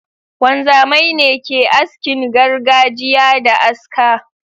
Wanzamai ne ke askin gargajiya da aska.